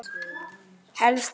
Helst meira en nóg.